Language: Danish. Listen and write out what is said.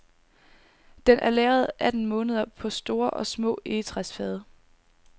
Den er lagret atten måneder på store og små egetræsfade.